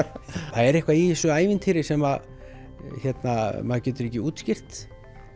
það er eitthvað í þessu ævintýri sem að maður getur ekki útskýrt